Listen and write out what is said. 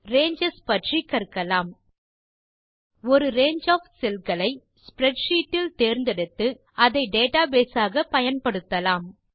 ranges பற்றி கற்கலாம் ஒரு ரங்கே ஒஃப் செல் களை ஸ்ப்ரெட்ஷீட் இல் தேர்ந்தெடுத்து அதை டேட்டாபேஸ் ஆக பயன்படுத்தலாம்